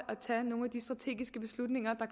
at tage nogle af de strategiske beslutninger